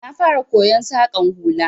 Na fara koyon Saƙan hula